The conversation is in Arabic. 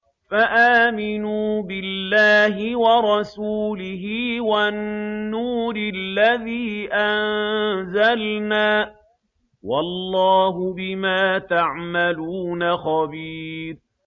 فَآمِنُوا بِاللَّهِ وَرَسُولِهِ وَالنُّورِ الَّذِي أَنزَلْنَا ۚ وَاللَّهُ بِمَا تَعْمَلُونَ خَبِيرٌ